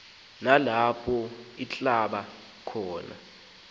nalapho althabatha khona